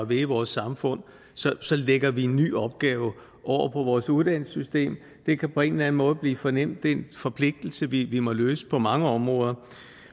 ved i vores samfund så lægger vi en ny opgave over på vores uddannelsessystem det kan på en eller anden måde blive for nemt det er en forpligtelse vi må løse på mange områder